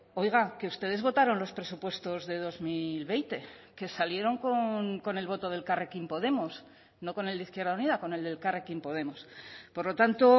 oiga que ustedes votaron los presupuestos de dos mil veinte que salieron con el voto de elkarrekin podemos no con el de izquierda unida con el de elkarrekin podemos por lo tanto